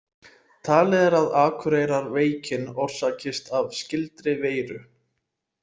Talið er að Akureyrarveikin orsakist af skyldri veiru.